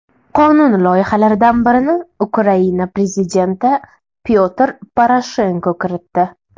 Qonun loyihalaridan birini Ukraina prezidenti Pyotr Poroshenko kiritdi.